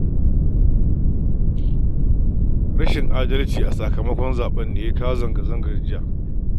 Rashin adalci a sakamakon zaɓen ne ya jawo zanga-zangar jiya